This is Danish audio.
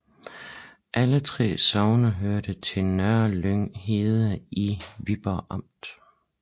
Alle 3 sogne hørte til Nørlyng Herred i Viborg Amt